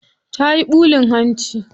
Tayi ɓulin hanci.